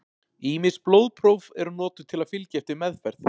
Ýmis blóðpróf eru notuð til að fylgja eftir meðferð.